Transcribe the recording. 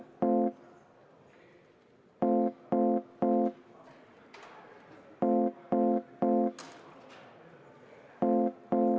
V a h e a e g